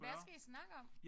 Hvad skal I snakke om?